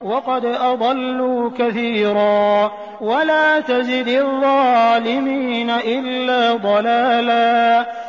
وَقَدْ أَضَلُّوا كَثِيرًا ۖ وَلَا تَزِدِ الظَّالِمِينَ إِلَّا ضَلَالًا